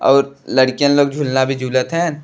और लड़कियन लोग झूलना भी झूलत हैन।